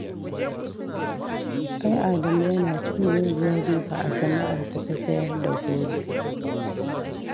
Ai Adamu yana cin muguwar riba a sana'arsa ta sayar da goro